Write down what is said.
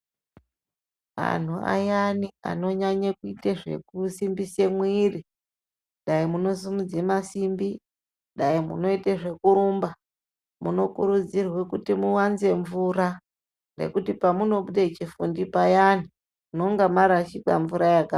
Anhu ayani anonyanye kuite zvekusimbise mwiri dai munosimudze masimbi ,dani munoite zvekurumba, munokurudzirwe kuti muwanze mvura ngekuti pamunobude chifundi payani munonga marashikirwa ngemvura yakawanda.